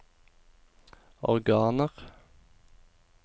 organer